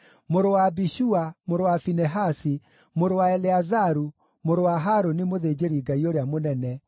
mũrũ wa Abishua, mũrũ wa Finehasi, mũrũ wa Eleazaru, mũrũ wa Harũni mũthĩnjĩri-Ngai ũrĩa mũnene,